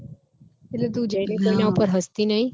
એટલે તુ જઈને કોઈના ઉપર હસતી નઈ